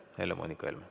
Helle-Moonika Helme.